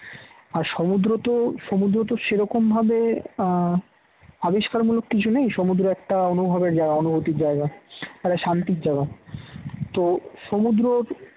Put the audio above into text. আর সমুদ্র তো সমুদ্র তো সেরকম ভাবে আবিষ্কার মূলক কিছু নেই। সমুদ্র একটা অনুভবের জায়গা অনুভূতির জায়গা একটা শান্তির জায়গা তো সমুদ্র